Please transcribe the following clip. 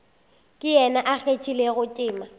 ke yena a kgathilego tema